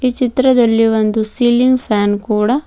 ಈ ಚಿತ್ರದಲ್ಲಿ ಒಂದು ಸಿಲಿಂಗ್ ಫ್ಯಾನ್ ಕೂಡ--